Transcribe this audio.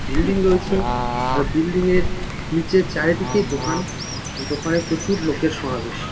Building রয়েছে আর building -এর নিচে চারিদিকে দোকান এ দোকানে প্রচুর লোকের সমাবেশ।